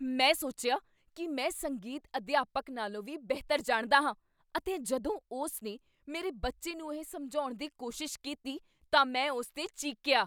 ਮੈਂ ਸੋਚਿਆ ਕੀ ਮੈਂ ਸੰਗੀਤ ਅਧਿਆਪਕ ਨਾਲੋਂ ਵੀ ਬਿਹਤਰ ਜਾਣਦਾ ਹਾਂ ਅਤੇ ਜਦੋਂ ਉਸ ਨੇ ਮੇਰੇ ਬੱਚੇ ਨੂੰ ਇਹ ਸਮਝਾਉਣ ਦੀ ਕੋਸ਼ਿਸ਼ ਕੀਤੀ ਤਾਂ ਮੈਂ ਉਸ 'ਤੇ ਚੀਕੀਆ।